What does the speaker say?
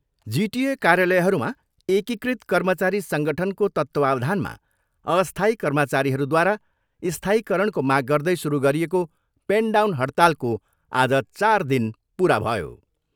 जिटिए कार्यालयहरूमा एकीकृत कर्मचारी सङ्गठनको तत्तावधानमा अस्थायी कर्मचारीहरूद्वारा स्थायीकरणको माग गर्दै सुरु गरिएको पेन डाउन हडतालको आज चार दिन पुरा भयो।